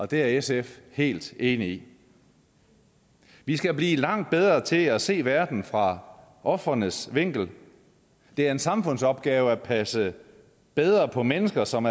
det er sf helt enig i vi skal blive langt bedre til at se verden fra ofrenes vinkel det er en samfundsopgave at passe bedre på mennesker som